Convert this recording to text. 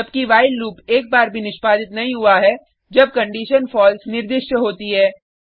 जबकि while loop एक बार भी निष्पादित नहीं हुआ है जब कंडिशन फलसे निर्दिष्ट होती है